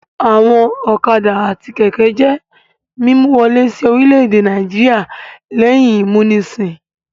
Àwọn ọ̀kadà àti kẹ̀kẹ́ jẹ́ mímú wọlé sí orílẹ̀-èdè Nàìjíríà lẹ́yìn ìmúnisìn.